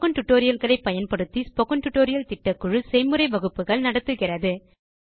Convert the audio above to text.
spoken tutorial களை பயன்படுத்தி spoken tutorial திட்டக்குழு செய்முறை வகுப்புகள் நடத்துகிறது